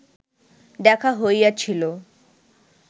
দেখা হইয়াছিল